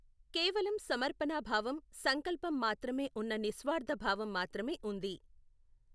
కేవలం సమర్పణా భావం, సంకల్పం మాత్రమే ఉన్న నిస్వార్థభావం మాత్రమే ఉంది.